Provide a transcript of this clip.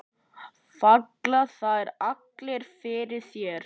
Falla þær allar fyrir þér?